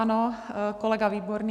Ano, kolega Výborný.